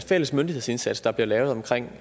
fælles myndighedsindsats der bliver lavet omkring